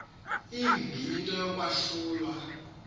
mbi into yokwahlulwa